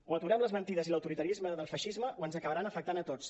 o aturem les mentides i l’autoritarisme del feixisme o ens acabaran afectant a tots